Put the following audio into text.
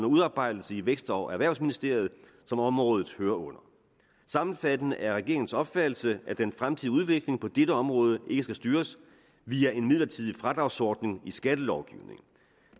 udarbejdelse i vækst og erhvervsministeriet som området hører under sammenfattende er regeringens opfattelse at den fremtidige udvikling på dette område ikke skal styres via en midlertidig fradragsordning i skattelovgivningen